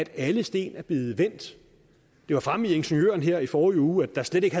alle sten er blevet vendt det var fremme i ingeniøren her i forrige uge at der slet ikke